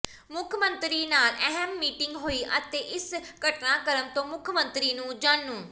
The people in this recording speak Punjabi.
ਮੁੱਖ ਮੰਤਰੀ ਨਾਲ ਅਹਿਮ ਮੀਟਿੰਗ ਹੋਈ ਅਤੇ ਇਸ ਘਟਨਾਕ੍ਰਮ ਤੋਂ ਮੁੱਖ ਮੰਤਰੀ ਨੂੰ ਜਾਣੂ